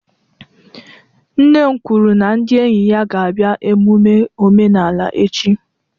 Nne m kwuru na ndi enyi ya ga-abia emume omenala echi